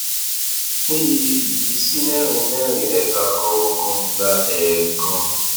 pín iye yìí sí mẹrin mẹrin ẹka kọọkan gba ẹẹkan